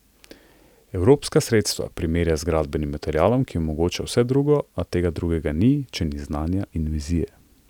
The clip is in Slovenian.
Evropska sredstva primerja z gradbenim materialom, ki omogoča vse drugo, a tega drugega ni, če ni znanja in vizije.